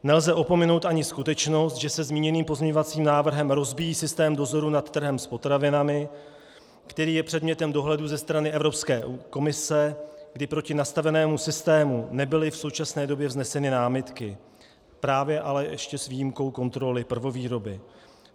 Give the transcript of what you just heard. Nelze opomenout ani skutečnost, že se zmíněným pozměňovacím návrhem rozbíjí systém dozoru nad trhem s potravinami, který je předmětem dohledu ze strany Evropské komise, kdy proti nastavenému systému nebyly v současné době vzneseny námitky, právě ale ještě s výjimkou kontroly prvovýroby.